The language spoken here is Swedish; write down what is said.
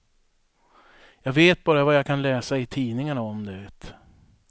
Jag vet bara vad jag kan läsa i tidningarna om det.